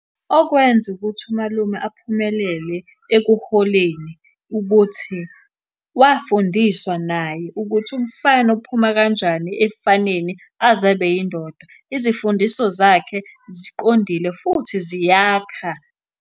Okwenza ukuthi umalume aphumelele ekuholeni ukuthi wafundiswa naye ukuthi umfana uphuma kanjani ebufaneni aze abe yindoda. Izifundiso zakhe ziqondile, futhi ziyakha.